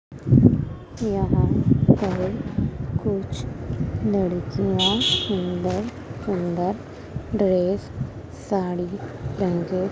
यहां पर कुछ लड़कियां सुंदर-सुंदर ड्रेस साड़ी टंगे--